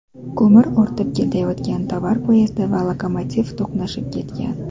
Ko‘mir ortib ketayotgan tovar poyezdi va lokomotiv to‘qnashib ketgan.